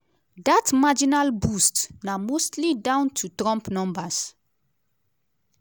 dat marginal boost na mostly down to trump numbers.